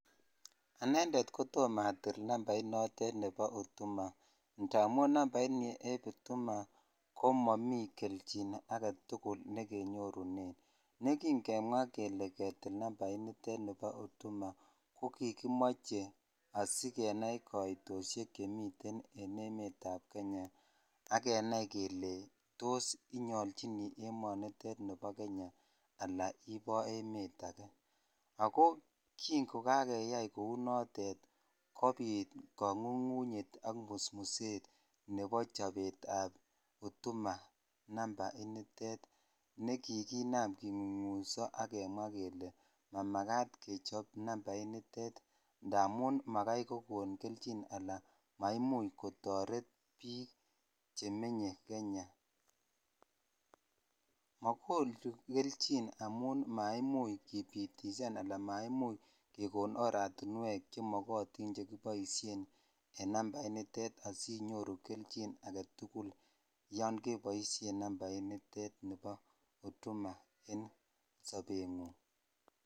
anendeet kotoom atil nambait noteet nebo hutuma ndamuun nambait nieeb hutuma komomii kechin agetugul negenyoruneen negingemwaa kele ketiil namnait niteet nebo hutuma, kogigimoche asigenaii koitosheek chemiteen en emeet ab kenya ak kenai kele tos inyolchini emoniteet nebo kenya anan iboo emeet agee, ago kii ngogageyaai kouu noteet kobiit kongungunyeet ak musmuseet nebo chobeet ab hutuma numba initeet negiginam kingungunyso ak kemwaa kele mamagaat kecho nambait niteet ndamuun magaai konyorkelchin alaan maimuuch kotoret biik chemenye kenya, magonuu kelchin amuun maimuuch kibitisaan anaan maimuch kegoon aratinweek chemogotiin chegiboisheen en nambait niteet asinyoruu kelchiin agetugul yoon keboishen nambait niteet nebo hutuma en sobeet nguung.